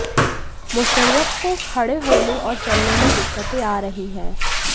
मुशर्रफ को खड़े होने और चलने में दिक्कतें आ रही हैं